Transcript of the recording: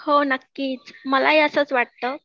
हो नक्कीच मला ही असंच वाटतं